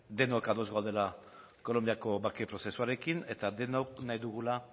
denok ados gaudela kolonbiako bake prozesuarekin eta denok nahi dugula